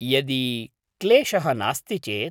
यदि क्लेशः नास्ति चेत्।